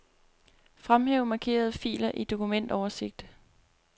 Fremhæv markerede filer i dokumentoversigt.